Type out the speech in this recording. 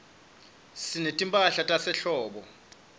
sinetimphahla tasehlobo